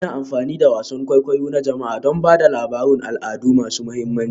Ana amfani da wasan kwaikwayo na jama'a don ba da labarun al'adu masu mahimmanci